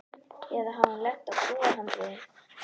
Eða hafði hún lent á brúarhandriði.